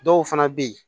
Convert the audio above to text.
Dɔw fana bɛ yen